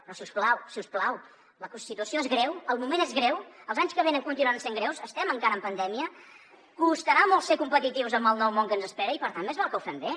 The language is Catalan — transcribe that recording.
però si us plau si us plau la situació és greu el moment és greu els anys que venen continuen sent greus estem encara en pandèmia costarà molt ser competitius amb el nou món que ens espera i per tant més val que ho fem bé